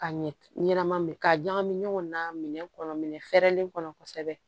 Ka ɲɛ ɲɛnama minɛ ka ɲagami ɲɔgɔn na minɛn kɔnɔ minɛn fɛɛrɛlen kɔnɔ kosɛbɛ